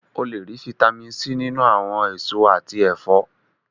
O lè rí Fitami C nínú àwọn èso àti ẹ̀fọ́.